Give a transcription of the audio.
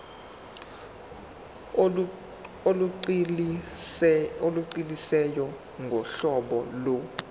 olugculisayo ngohlobo lo